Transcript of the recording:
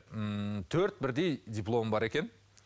ммм төрт бірдей дипломы бар екен